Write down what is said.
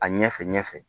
A ɲɛfɛ ɲɛfɛ